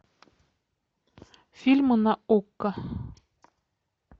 фильмы на окко